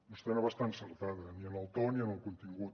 vostè no va estar encertada ni en el to ni en el contingut